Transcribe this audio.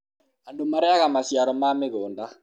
andũ marĩaga maciaro ma mĩgũnda